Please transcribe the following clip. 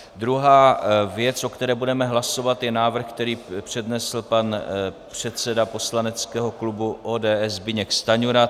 Druhá věc, o které budeme hlasovat, je návrh, který přednesl pan předseda poslaneckého klubu ODS Zbyněk Stanjura.